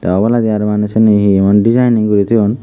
oboladi araw maneh sini hi hi emon deejining guri toyon.